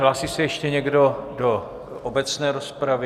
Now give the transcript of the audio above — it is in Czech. Hlásí se ještě někdo do obecné rozpravy?